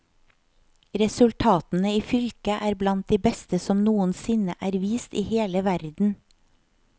Resultatene i fylket er blant de beste som noensinne er vist i hele verden.